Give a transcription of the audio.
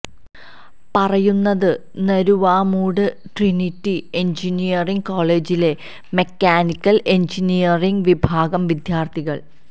പറയുന്നത് Naruvamoodu Trinity engineering കോളേജിലെ mechanical engineering വിഭാഗം വിദ്യാര്ത്ഥികള്